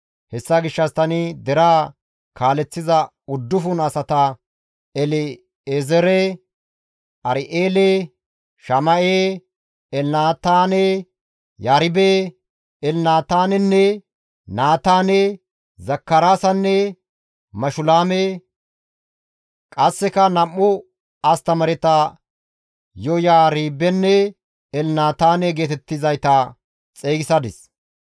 hessa gishshas tani deraa kaaleththiza uddufun asata El7ezeere, Ar7eele, Shama7e, Elnataane, Yaribe, Elnataanenne, Naataane, Zakaraasanne Mashulaame; qasseka nam7u astamaareta Yoyaaribenne Elnataane geetettizayta xeygisadis.